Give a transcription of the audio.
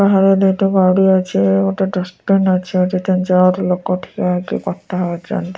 ବାହାରେ ଦୁଇଟି ଗାଡ଼ି ଅଛି ଗୋଟେ ଡଷ୍ଟ୍ବିନ୍ ଅଛି। ଏଠି ତିନ ଚାରି ଲୋକ ଠିଆ ହେଇକି କଥା ହୋଉଛନ୍ତି।